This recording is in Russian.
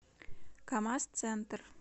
камаз центр